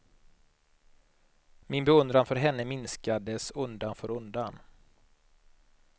Min beundran för henne minskades undan för undan.